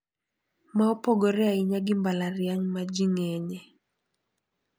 Ma opogore ahinya gi mbalariany ma ji ng`enye.